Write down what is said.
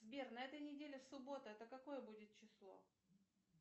сбер на этой неделе суббота это какое будет число